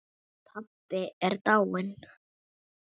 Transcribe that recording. Pabbi er dáinn